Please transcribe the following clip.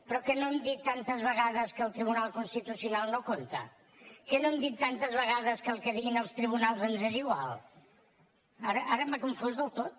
però que no hem dit tantes vegades que el tribunal constitucional no compta que no hem dit tantes vegades que el que diguin els tribunals ens és igual ara m’ha confós del tot